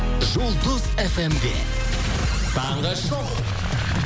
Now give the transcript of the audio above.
жұлдыз фм де таңғы шоу